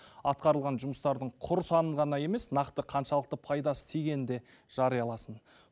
атқарылған жұмыстардың құр санын ғана емес нақты қаншалықты пайдасы тигенін де жарияласын